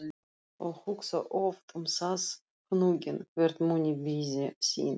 og hugsa oft um það hnugginn, hver muni biðja þín.